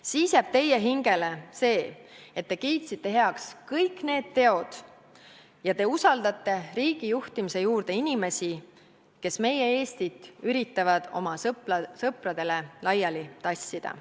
Siis jääb teie hingele see, et te kiitsite heaks kõik need teod ja te usaldate riigi juhtimise juurde inimesi, kes meie Eestit üritavad oma sõpradele laiali tassida.